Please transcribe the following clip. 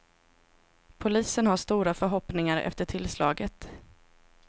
Polisen har stora förhoppningar efter tillslaget.